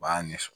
U b'a ɲɛfɔ